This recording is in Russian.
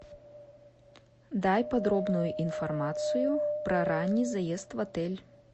дай подробную информацию про ранний заезд в отель